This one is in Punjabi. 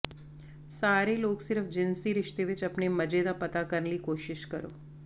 ਸਾਰੇ ਲੋਕ ਸਿਰਫ ਜਿਨਸੀ ਰਿਸ਼ਤੇ ਵਿਚ ਆਪਣੇ ਮਜ਼ੇ ਦਾ ਪਤਾ ਕਰਨ ਲਈ ਕੋਸ਼ਿਸ਼ ਕਰੋ